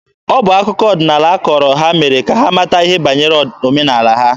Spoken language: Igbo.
Ọ bụ akụkọ ọdịnaala a kọọrọ ha mere ka ha mata ihe banyere omenaala ha.